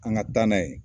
An ka taa n'a ye